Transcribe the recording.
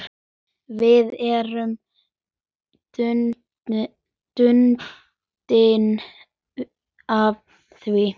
Við erum bundin af því.